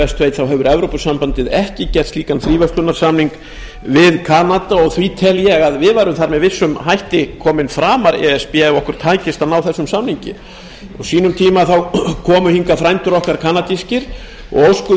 best veit að þá hefur evrópusambandið ekki gert slíkan fríverslunarsamning við kanada og því tel ég að við værum þar með vissum hætti að komin framar e s b ef okkur tækist að ná þessum samningi á sínum tíma komu hingað frændur okkar kanadískir og óskuðu